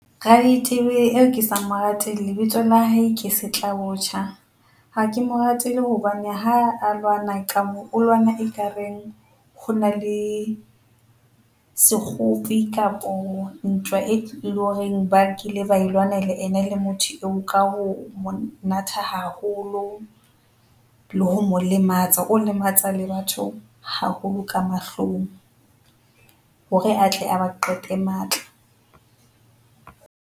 Raditebele eo ke sa mo rateng lebitso la hae ke setlabotjha. Ha ke mo ratele hobane ha a lwana ka moo o lwana e ka reng, ho na le sekgopi kapo ntwa eo loreng ba kile ba e lwana ena le motho eo ka ho mo natha haholo, le ho mo lematsa, o lematsa le batho haholo ka mahlong, hore a tle a ba qete matla.